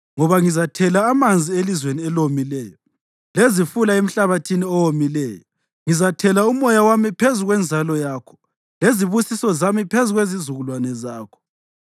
Ngoba ngizathela amanzi elizweni elomileyo, lezifula emhlabathini owomileyo. Ngizathela uMoya wami phezu kwenzalo yakho lezibusiso zami phezu kwezizukulwane zakho.